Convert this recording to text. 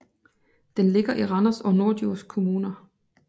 Den ligger i Randers og Norddjurs Kommuner